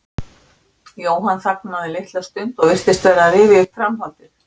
Jóhann þagnaði litla stund og virtist vera að rifja upp framhaldið.